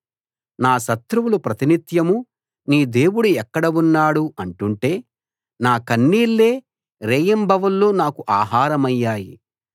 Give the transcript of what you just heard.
నా శత్రువులు ప్రతినిత్యం నీ దేవుడు ఎక్కడ ఉన్నాడు అంటుంటే నా కన్నీళ్ళే రేయింబవళ్ళు నాకు ఆహారమయ్యాయి